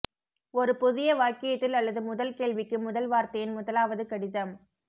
ஒரு புதிய வாக்கியத்தில் அல்லது முதல் கேள்விக்கு முதல் வார்த்தையின் முதலாவது கடிதம்